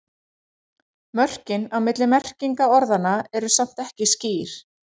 Mörkin á milli merkinga orðanna eru samt ekki skýr.